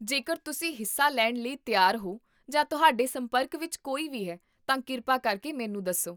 ਜੇਕਰ ਤੁਸੀਂ ਹਿੱਸਾ ਲੈਣ ਲਈ ਤਿਆਰ ਹੋ ਜਾਂ ਤੁਹਾਡੇ ਸੰਪਰਕ ਵਿੱਚ ਕੋਈ ਵੀ ਹੈ, ਤਾਂ ਕਿਰਪਾ ਕਰਕੇ ਮੈਨੂੰ ਦੱਸੋ